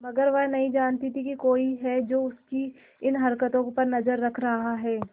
मगर वह नहीं जानती थी कोई है जो उसकी इन हरकतों पर नजर रख रहा है